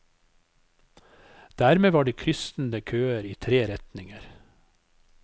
Dermed var det kryssende køer i tre retninger.